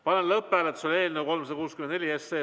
Panen lõpphääletusele eelnõu 364.